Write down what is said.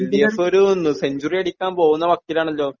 LDF ഒരു century അടിക്കാൻ പോകുന്ന മട്ടിലാണല്ലോ